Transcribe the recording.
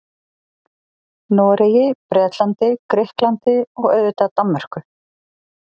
Noregi, Bretlandi, Grikklandi og auðvitað Danmörku.